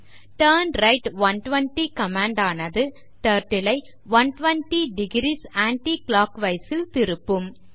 turn right 120 command ஆனது Turtle ஐ 120 degrees anti clockwise ல் திருப்பும்